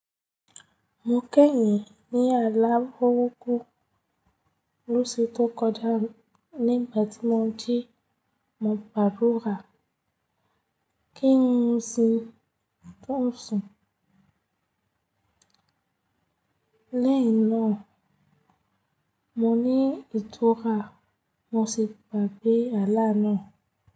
Mo kẹ́yin ní àlá burúku lóṣù tó kọjá nígbà tí mo jí mọ̀ gbádúra kí ń mu sin tó ń sùn. Lẹ́yìn náà, mo ní ìtura mo sì gbágbé àlá náà.